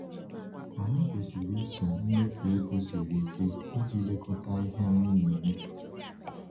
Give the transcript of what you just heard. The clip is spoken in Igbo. Anyị kwesiri iso mmefu ego siri ike iji lekọta ihe anyị na-emefu.